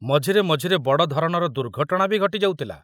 ମଝିରେ ମଝିରେ ବଡ଼ ଧରଣର ଦୁର୍ଘଟଣା ବି ଘଟି ଯାଉଥିଲା।